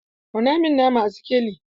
Auna min nama a sikelin!